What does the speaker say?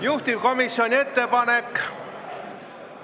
Juhtivkomisjoni ettepanek ...